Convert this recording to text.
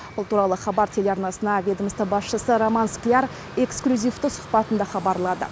бұл туралы хабар телеарнасына ведомство басшысы роман скляр эксклюзивті сұхбатында хабарлады